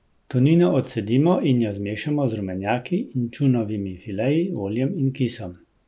Tunino odcedimo in jo zmešamo z rumenjaki, inčunovimi fileji, oljem in kisom.